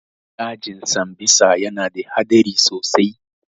Dajin sambisa ya na da haɗari sosai